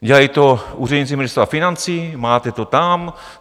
Dělají to úředníci Ministerstva financí, máte to tam.